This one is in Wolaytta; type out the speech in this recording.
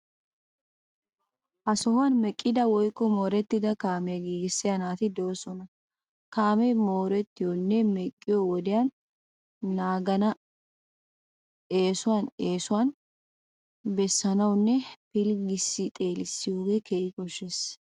Ha sohuwan meqqida woykko moorettida kaamiya giigissiya naati de'oosona. Kaamee moorttiyonne. meqqiyo wodiya naagenna eesuwan eesuwan bessanawunne pilggissi xeelissiyogee keehi koshshiyaba.